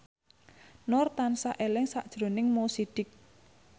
Nur tansah eling sakjroning Mo Sidik